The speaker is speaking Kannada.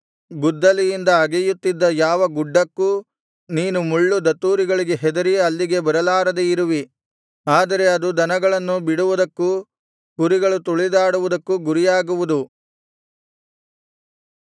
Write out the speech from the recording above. ಗುದ್ದಲಿಯಿಂದ ಅಗೆಯುತ್ತಿದ್ದ ಯಾವ ಗುಡ್ಡಕ್ಕೂ ನೀನು ಮುಳ್ಳು ದತ್ತೂರಿಗಳಿಗೆ ಹೆದರಿ ಅಲ್ಲಿಗೆ ಬರಲಾರದೇ ಇರುವಿ ಆದರೆ ಅದು ದನಗಳನ್ನು ಬಿಡುವುದಕ್ಕೂ ಕುರಿಗಳು ತುಳಿದಾಡುವುದಕ್ಕೂ ಗುರಿಯಾಗುವುದು